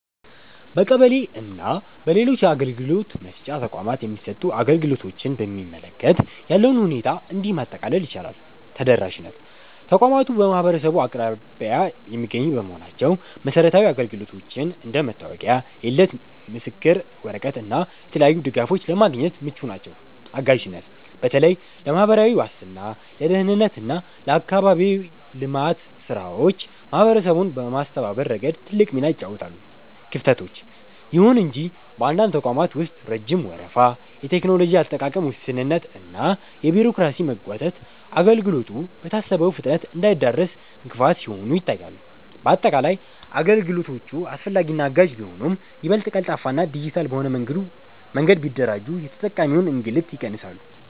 በቀበሌ እና በሌሎች የአገልግሎት መስጫ ተቋማት የሚሰጡ አገልግሎቶችን በሚመለከት ያለውን ሁኔታ እንዲህ ማጠቃለል ይቻላል፦ ተደራሽነት፦ ተቋማቱ በማህበረሰቡ አቅራቢያ የሚገኙ በመሆናቸው መሰረታዊ አገልግሎቶችን (እንደ መታወቂያ፣ የልደት ምስክር ወረቀት እና የተለያዩ ድጋፎች) ለማግኘት ምቹ ናቸው። አጋዥነት፦ በተለይ ለማህበራዊ ዋስትና፣ ለደህንነት እና ለአካባቢያዊ ልማት ስራዎች ማህበረሰቡን በማስተባበር ረገድ ትልቅ ሚና ይጫወታሉ። ክፍተቶች፦ ይሁን እንጂ በአንዳንድ ተቋማት ውስጥ ረጅም ወረፋ፣ የቴክኖሎጂ አጠቃቀም ውስንነት እና የቢሮክራሲ መጓተት አገልግሎቱ በታሰበው ፍጥነት እንዳይደርስ እንቅፋት ሲሆኑ ይታያሉ። ባጠቃላይ፣ አገልግሎቶቹ አስፈላጊና አጋዥ ቢሆኑም፣ ይበልጥ ቀልጣፋና ዲጂታል በሆነ መንገድ ቢደራጁ የተጠቃሚውን እንግልት ይቀንሳሉ።